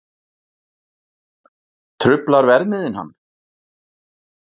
Truflar verðmiðinn hann?